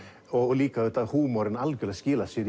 og líka húmorinn skilar sér